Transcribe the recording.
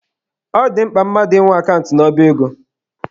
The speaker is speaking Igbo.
Ọ dị mkpa mmadụ ị nwe akant n'ọba ego.